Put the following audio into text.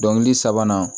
Dɔnkili sabanan